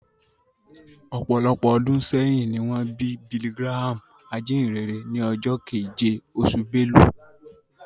Ọ̀pọ̀lọpọ̀ ọdún sẹ́yìn ni wọ́n bí Billy Graham, ajínyìnrere, ní ọjọ́ keje, oṣù Belu